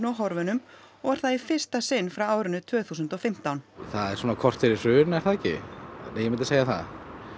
og horfunum og var það í fyrsta sinn frá árinu tvö þúsund og fimmtán það er svona korter í hrun er það ekki ég myndi segja það